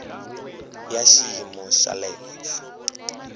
ya xiyimo xa le henhla